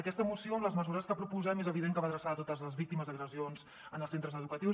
aquesta moció amb les mesures que proposem és evident que va adreçada a totes les víctimes d’agressions en els centres educatius